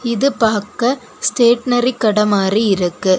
இது பாக்க ஸ்டேஷனரி கடை மாதிரி இருக்கு.